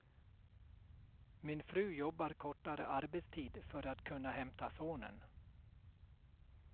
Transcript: Min fru jobbar kortare arbetstid för att kunna hämta sonen.